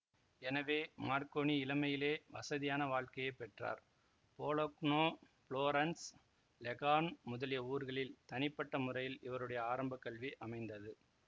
எனவே மார்க்கோனி இளமையிலேயே வசதியான வாழ்க்கையை பெற்றார் போலக்னோபுளோரன்ஸ் லெகார்ன் முதலிய ஊர்களில் தனிப்பட்ட முறையில் இவருடைய ஆரம்ப கல்வி அமைந்தது